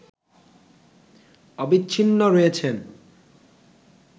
অবিচ্ছিন্ন রয়েছেন